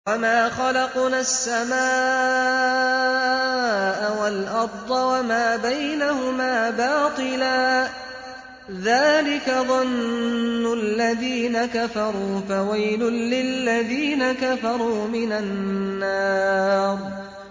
وَمَا خَلَقْنَا السَّمَاءَ وَالْأَرْضَ وَمَا بَيْنَهُمَا بَاطِلًا ۚ ذَٰلِكَ ظَنُّ الَّذِينَ كَفَرُوا ۚ فَوَيْلٌ لِّلَّذِينَ كَفَرُوا مِنَ النَّارِ